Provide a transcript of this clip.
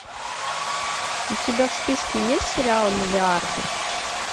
у тебя в списке есть сериал миллиарды